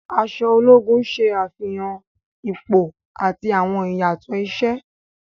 Aṣọ ologun ṣe afihan ipo ati awọn iyatọ iṣẹ.